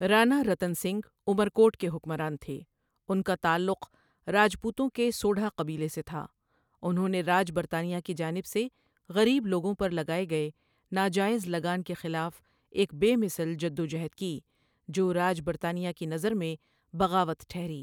رانارتن سنگھ عمرکوٹ کے حکمران تھے اُن کا تعلق راجپوتوں کے سوڈھا قبیلے سے تھا انہوں نےراج برطانیہ کی جانب سےغریب لوگوں پرلگائےگئےناجائز لگان کے خلاف ایک بےمثل جدوجہد کی جوراج برطانیہ کی نظرمیں بغاوت ٹہری.